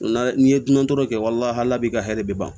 N'a n'i ye dunan tɔɔrɔ kɛ walahahala bɛ ka hɛrɛ bi ban